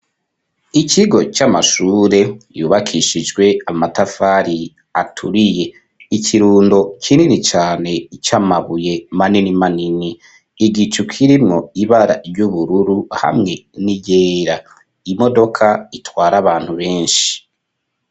Ikigo, c'amashure, yubakishijwe amatafari, aturiye; ikirundo kinini cane, c'amabuye, manini manini, igicu, kirimwo ibara ry'ubururu, hamwe n'iryera; imodoka, itwara abantu benshi.